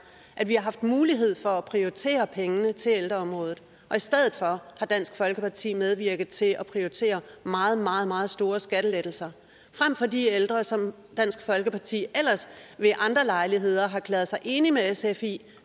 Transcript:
at vi har haft mulighed for at prioritere pengene til ældreområdet og i stedet for har dansk folkeparti medvirket til at prioritere meget meget meget store skattelettelser frem for de ældre som dansk folkeparti ellers ved andre lejligheder har erklæret sig enig med sf i